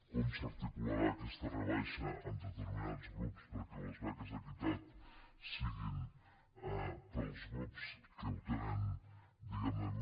com s’articularà aquesta rebaixa en determinats grups perquè les beques equitat siguin per als grups que ho tenen diguem ne més